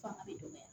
Fanga bɛ dɔgɔya